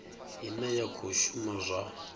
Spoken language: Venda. ine ya khou shuma zwa